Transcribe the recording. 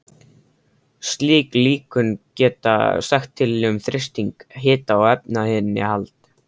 Slík líkön geta sagt til um þrýsting, hita og efnainnihald.